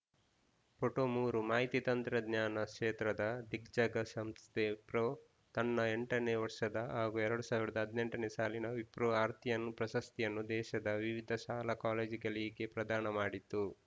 photo ಮೂರು ಮಾಹಿತಿ ತಂತ್ರಜ್ಞಾನ ಕ್ಷೇತ್ರದ ದಿಗ್ಗಜ ಸಂಸ್ಥೆ ವಿಪ್ರೋ ತನ್ನ ಎಂಟನೇ ವರ್ಷದ ಹಾಗೂ ಎರಡ್ ಸಾವಿರದ ಹದಿನೆಂಟು ನೇ ಸಾಲಿನ ವಿಪ್ರೋ ಆರ್ಥಿಯನ್‌ ಪ್ರಶಸ್ತಿಯನ್ನು ದೇಶದ ವಿವಿಧ ಶಾಲಾ ಕಾಲೇಜುಗಳಿಗೆ ಪ್ರದಾನ ಮಾಡಿತು